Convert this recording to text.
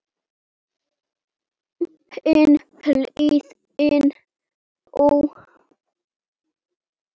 Hin hliðin dó.